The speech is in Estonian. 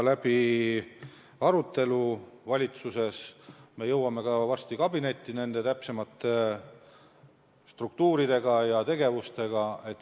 Me arutame seda valitsuses ja jõuame varsti valitsuskabinetti täpsema struktuuri ja täpsemate tegevustega.